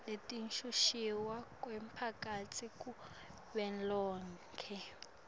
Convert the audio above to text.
letekushushiswa kwemphakatsi kuvelonkhe